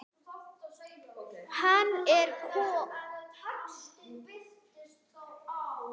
Hann er kom